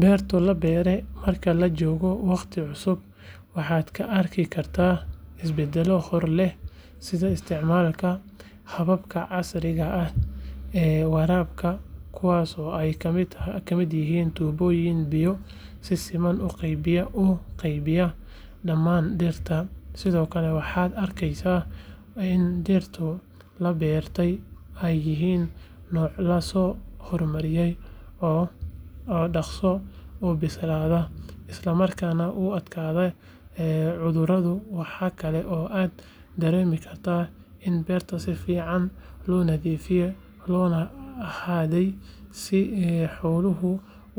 Beerta la beero marka laga joogo waqti cusub waxaad ka arki kartaa isbedello hor leh sida isticmaalka hababka casriga ah ee waraabka kuwaas oo ay ka mid yihiin tuubooyin biyo si siman u qaybiya dhamaan dhirta sidoo kale waxaad arkeysaa in dhirta la beertay ay yihiin noocyo la soo hormariyay oo dhakhso u bislaada isla markaana u adkaysta cudurada waxaa kale oo aad dareemi kartaa in beerta si fiican loo nadiifiyay loona xaday si xooluhu